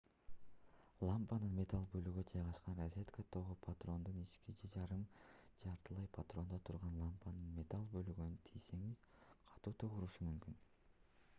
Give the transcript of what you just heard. лампанын металл бөлүгү жайгашкан розетка тогу патрондун ички же жарым жартылай патрондо турган лампанын металл бөлүгүнө тийсеңиз катуу ток урушу мүмкүн